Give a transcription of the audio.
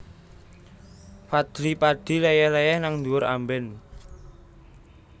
Fadly Padi leyeh leyeh nang dhuwur amben